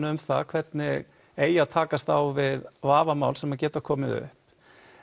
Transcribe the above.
um það hvernig eigi að takast á við vafamál sem geta komið upp